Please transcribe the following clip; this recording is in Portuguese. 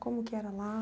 Como que era lá?